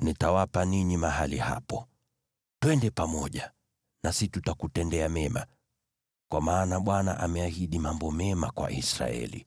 ‘Nitawapa ninyi mahali hapo.’ Twende pamoja nasi tutakutendea mema, kwa maana Bwana ameahidi mambo mema kwa Israeli.”